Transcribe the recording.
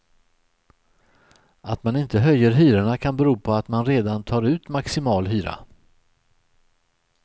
Att man inte höjer hyrorna kan bero på att man redan tar ut maximal hyra.